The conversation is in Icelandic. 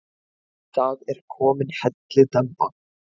Það er komin hellidemba.